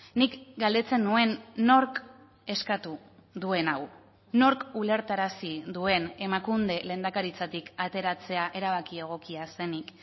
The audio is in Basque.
nik galdetzen nuen nork eskatu duen hau nork ulertarazi duen emakunde lehendakaritzatik ateratzea erabaki egokia zenik